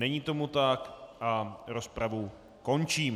Není tomu tak a rozpravu končím.